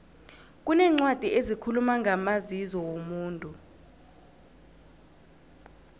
kuneencwadi ezikhuluma ngamazizo womuntu